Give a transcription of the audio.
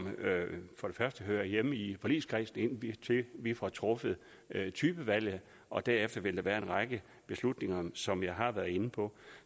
hører hjemme i forligskredsen indtil vi får truffet typevalget og derefter vil der være en række beslutninger som jeg har været inde på